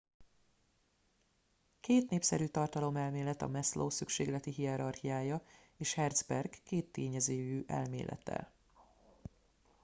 két népszerű tartalomelmélet a maslow szükségleti hierarchiája és herzberg kéttényezőjű elmélete